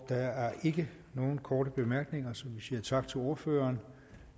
der er ikke nogen korte bemærkninger så vi siger tak til ordføreren